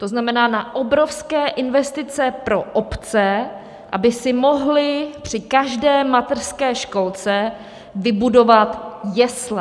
To znamená na obrovské investice pro obce, aby si mohly při každé mateřské školce vybudovat jesle.